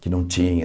Que não tinha.